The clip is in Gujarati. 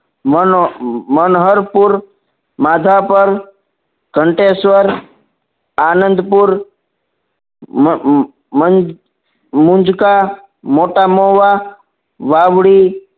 મન મનહરપુર માધાપર ઘંટેશ્વર આનંદપુર મુંજકા મોટામુવા વાવડી